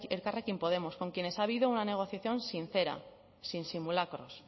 elkarrekin podemos con quienes ha habido una negociación sincera sin simulacros